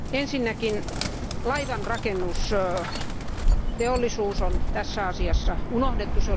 Ensinnäkin laivanrakennusteollisuus on tässä asiassa unohdettu.